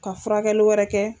Ka furakɛli wɛrɛ kɛ